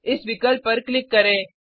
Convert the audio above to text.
इस विकल्प पर क्लिक करें